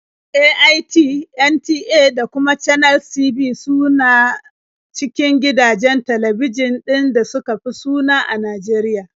AIT, NTA da kuma Channels TV su na cikin gidajen talbijin ɗin da suka fi suna a Najeriya.